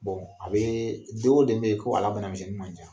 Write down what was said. Bon a bɛ den o den bɛ yen ko ala banamisɛnni man ca